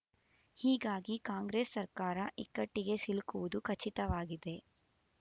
ಹೀಗಾಗಿ ಕಾಂಗ್ರೆಸ್ ಸರ್ಕಾರ ಇಕ್ಕಟ್ಟಿಗೆ ಸಿಲುಕುವುದು ಖಚಿತವಾಗಿದೆ